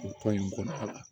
O ko in kɔnɔna la